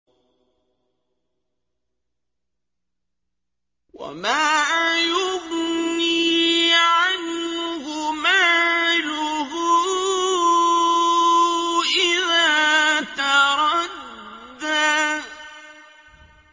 وَمَا يُغْنِي عَنْهُ مَالُهُ إِذَا تَرَدَّىٰ